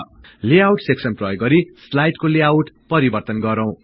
layout section प्रयोग गरि स्लाइडको लेआउट परिवर्तन गरौं